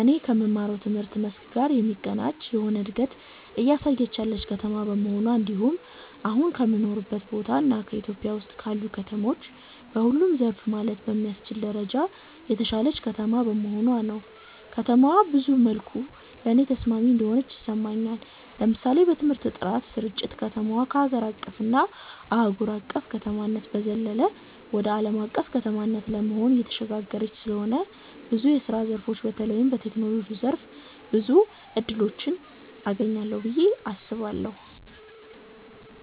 እኔ ከምማረው ትምህርት መስክ ጋር የሚቀናጅ የሆነ እንደገት እያሳየች ያለች ከተማ በመሆኗ እንድሁም አሁን ከምኖርበት ቦታ እና ኢትዮጵያ ውስጥ ካሉ ከተሞች በሁሉም ዘርፍ ማለት በሚያስችል ደረጃ የተሻለች ከተማ በመሆኗ ነው። ከተማዋ ብዙ መልኩ ለኔ ተስማሚ እንደሆነች ይሰማኛል። ለምሳሌ በትምህርት ጥራት ስርጭት፣ ከተማዋ ከሀገር አቀፍ እና አህጉር አቅፍ ከተማነት በዘለለ ወደ አለም አቀፍ ከተማነት ለመሆን እየተሸጋገረች ስለሆነ ብዙ የስራ ዘርፎች በተለይም በቴክኖሎጂው ዘርፍ ብዙ እድሎችን አገኛለሁ ብየ አስባለሁ።